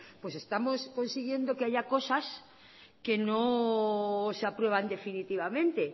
pues estamos consiguiendo que haya cosas que no se aprueban definitivamente